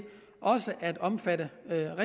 også at omfatte